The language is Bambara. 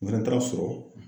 N fɛnɛ taara sɔrɔ